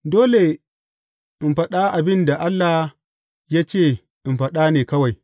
Dole in faɗa abin da Allah ya ce in faɗa ne kawai.